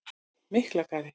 Miklagarði